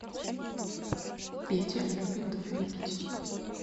петя любит выпить